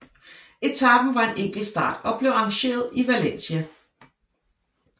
Etapen var en enkeltstart og blev arrangeret i Valencia